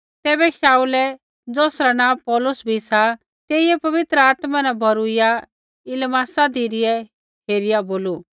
तैबै शाऊलै ज़ौसरा नाँ पौलुस भी सा तेइयै पवित्र आत्मा न भौरूइया इलीमासा धिरै हेरिआ बोलू